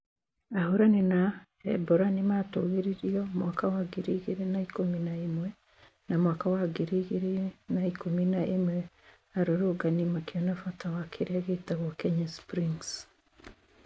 Ahũrani na Ebora" nĩ matũgĩririo mwaka wa ngiri igĩrĩ na ikũmi na imwe na mwaka wa ngiri igĩrĩ na ikũmi na ĩmwe arũrũngani makĩona bata wa kĩrĩa gĩtagwo kenya springs